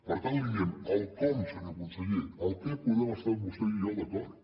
per tant li diem el com senyor conseller el que hi podem estar vostè i jo d’acord